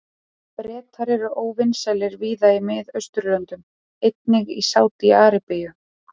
Bretar voru óvinsælir víða í Mið-Austurlöndum, einnig í Sádi-Arabíu.